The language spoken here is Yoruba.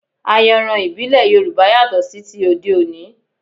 Ayanran ìbílẹ̀ Yorùbá yàtọ̀ sí ti òde òní